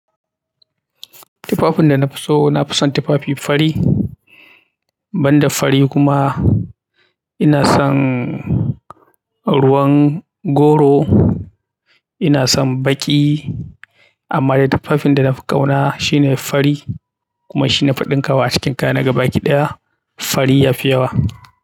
Tufafin da na fi so, na fison tufafi fari, ban da fari kuma ina son ruwan goro, ina son baƙi. Amma dai tufafin da na fi ƙauna shine fari kuma shi nafi ɗin ka wa a cikin kaya na ga baki ɗaya fari ya fi yawa.